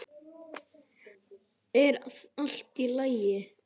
Er allt í lagi?